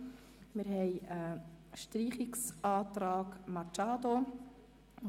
Zudem liegt ein Streichungsantrag von Grossrätin Machado vor.